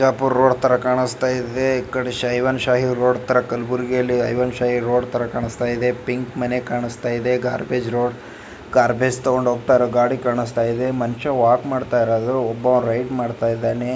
Bijapur road ತಾರಾ ಕಾಣಿಸ್ತಾಯಿದೆ ಏಕದಿ ಸಾಯಿನ್ ಸಾಯಿ ರೋಡ್ ಕಲ್ಬುರ್ಗಿ ಅಲ್ಲಿ ಹೈ ಒನ್ ಶಿಯ್ ರೋಡ್ ತಾರಾ ಕಾನಿಸ್ತಾಇದೆ ಪಿಂಕ್ ಮನೆ ಕಾನಿಸ್ತಾಇದೆ ಗಾರ್ಬೇಜ್ ರೋಡ್ ಗಾರ್ಬೇಜ್ ತಗೊಂಡು ಹೋಗ್ತಾಯಿರೋ ಗಾಡಿ ಕಾನಿಸ್ತಾಇದೆ ಮನುಷ್ಯ ವಾಕ್ ಮಾಡ್ತಾಯಿರೋದು ಒಬ್ಬ ರೈಡ್ ಮಾಡ್ತಾಇದ್ದಾನೆ.